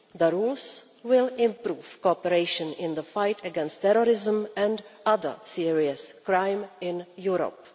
The rules will improve cooperation in the fight against terrorism and other serious crime in Europe.